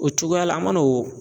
O cogoya la an mana o